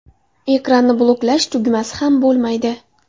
Ekranni bloklash tugmasi ham bo‘lmaydi.